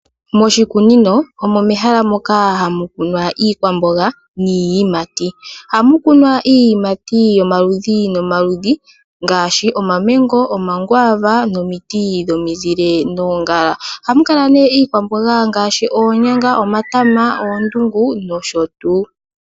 Moshikunino omo mehala moka hamukunwa iikwambonga ni yiimati, oha mukunwa iiyimati yomaludhi no maludhi ngashi omamengo, omakwava, nomiti dhomizile, noongala hamukala ne iikwambonga ngashi onyanga, omatama, oondungu nosho tu.